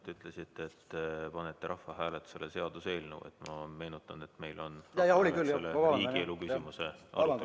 Te ütlesite, et panete rahvahääletusele seaduseelnõu, aga ma meenutan, et meil on muu riigielu küsimuse arutelu.